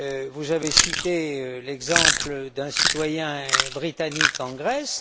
Vous avez cité l'exemple d'un citoyen britannique en Grèce.